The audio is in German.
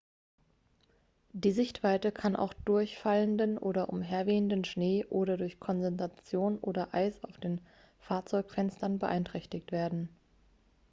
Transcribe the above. die sichtweite kann auch durch fallenden oder umherwehenden schnee oder durch kondensation oder eis auf den fahrzeugfenstern beeinträchtigt werden.x